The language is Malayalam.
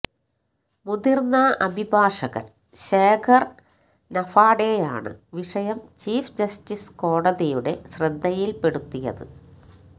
മുതിര്ന്ന അഭിഭാഷകന് ശേഖര് നഫാഡെയാണ് വിഷയം ചീഫ് ജസ്റ്റിസ് കോടതിയുടെ ശ്രദ്ധയില്പ്പെടുത്തിയത്